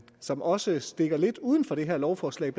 som også stikker lidt uden for det her lovforslag